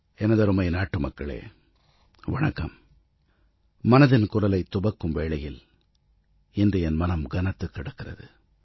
எனதருமை நாட்டுமக்களே வணக்கம் மனதின் குரலைத் துவக்கும் வேளையில் இன்று என் மனம் கனத்துக் கிடக்கிறது